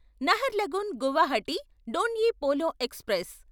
Naharlagun Guwahati Donyi Polo express